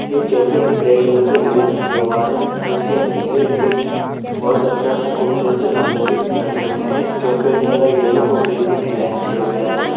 एक केफे एक red colour का डिजाइन किया हुआ है जिसके नीचे एक बहोत अच्छा-सा खूबसूरत से गमले भी रखे हुए हैं केफे यलो और ग्रीन में डिजाइन किया गया है।